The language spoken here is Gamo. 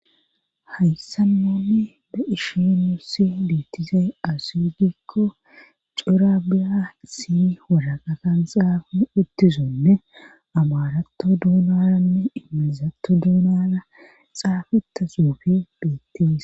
hayssa nonni be ishi nusi biettizay asugikko cirabiyasi woraqatan xaafa uttizonne amaratto dunaranne imilizatto dunara xaafeta xuufe beettes